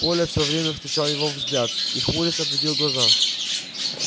коля все время встречал его взгляд и хмурясь отводил глаза